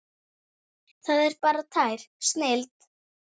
Það er bara tær snilld.